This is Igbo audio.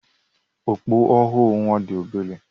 Okpu ọhụrụ nwa dị obere.